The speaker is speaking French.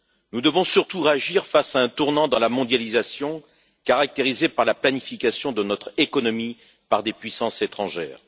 Nous devons surtout réagir face à un tournant dans la mondialisation caractérisée par la planification de notre économie par des puissances étrangères.